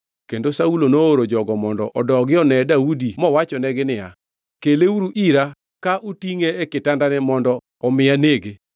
Kendo Saulo nooro jogo mondo odogi one Daudi mowachonegi niya, “Keleuru ira ka utingʼe e kitandane mondo omi anege.”